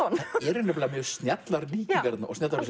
eru mjög snjallar líkingar þarna